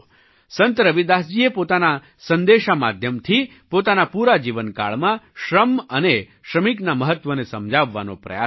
સંત રવિદાસજીએ પોતાના સંદેશા માધ્યમથી પોતાના પૂરા જીવનકાળમાં શ્રમ અને શ્રમિકના મહત્ત્વને સમજાવવાનો પ્રયાસ કર્યો